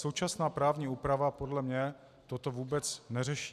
Současná právní úprava podle mě toto vůbec neřeší.